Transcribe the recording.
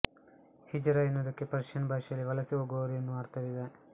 ಹಿಜರಾ ಎನ್ನುವುದಕ್ಕೆ ಪರ್ಷಿಯನ್ ಭಾಷೆಯಲ್ಲಿ ವಲಸೆ ಹೋಗುವವರು ಎನ್ನುವ ಅರ್ಥವಿದೆ